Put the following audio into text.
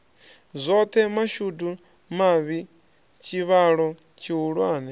zwoṱhe mashudu mavhi tshivhalo tshihulwane